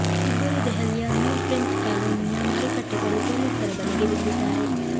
ಇಬ್ಬರು ದೆಹಲಿಯ new friends ಕಾಲೋನಿಯ ಮಾರುಕಟ್ಟೆ ಬಳಿ ಪೊಲೀಸರ ಬಲೆಗೆ ಬಿದ್ದಿದ್ದಾರೆ